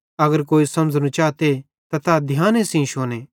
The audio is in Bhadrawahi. अगर कोई समझ़नो चाते त तै ध्याने सेइं शुने